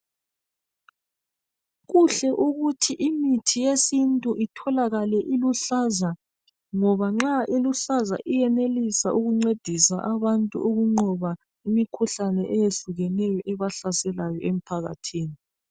Kuhle ukuthi imithi yesintu itholakale iluhlaza ngoba nxa iluhlaza iyenelisa ukuncedisa abantu ukunqoba imikhuhlane eyehlukeneyo ebahlaselayo emphakathini.